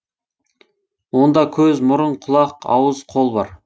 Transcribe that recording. онда көз мұрын құлақ ауыз қол бар